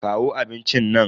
Kawo abincin nan.